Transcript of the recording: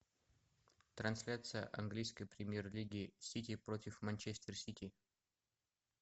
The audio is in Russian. трансляция английской премьер лиги сити против манчестер сити